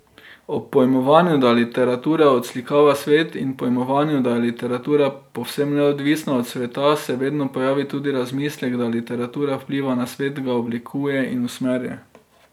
Ob pojmovanju, da literatura odslikava svet, in pojmovanju, da je literatura povsem neodvisna od sveta, se vedno pojavi tudi razmislek, da literatura vpliva na svet, ga oblikuje in usmerja.